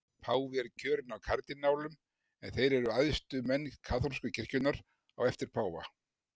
Páfi er kjörinn af kardínálum en þeir eru æðstu menn kaþólsku kirkjunnar á eftir páfa.